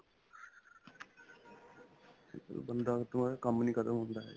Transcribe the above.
ਬੰਦਾ ਖ਼ਤਮ ਹੋ ਜਾਂਦਾ ਕੰਮ ਨਹੀਂ ਖ਼ਤਮ ਹੁੰਦਾ ਹੈਗਾ